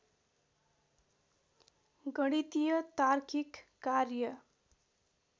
गणितिय तार्किक कार्य